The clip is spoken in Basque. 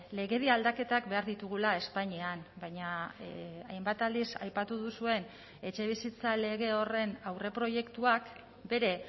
legedia aldaketak behar ditugula espainian baina hainbat aldiz aipatu duzuen etxebizitza lege horren aurreproiektuak bere